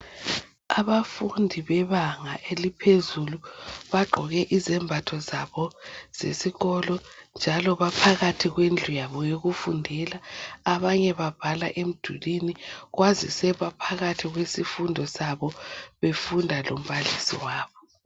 Abafundi bebanga eliphezulu bagqoke izembatho zabo zesikolo njalo baphakathi kwendlu yabo yokufundela abanye babhala emdulwini kwazise baphakathi kwesifundo sabo befunda lombalisi wabo.